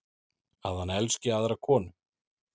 Að hann elski aðra konu.